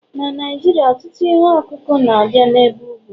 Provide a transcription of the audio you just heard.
na Naijiria, ọtụtụ ihe ọkụkụ na-abịa n'ebe ugwu